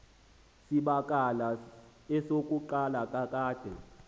zibakala esokuqala kakade